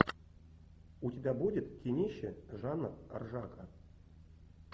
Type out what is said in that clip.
у тебя будет кинище жанр ржака